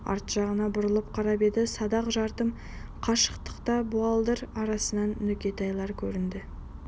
арт жағына бұрылып қарап еді садақ тартым қашықтықта буалдыр арасынан нүкетайлар көрінді